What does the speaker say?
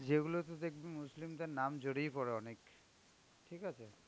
যেগুলোতে দেখবি muslim দের নাম জড়িয়ে পড়ে অনেক, ঠিক আছে.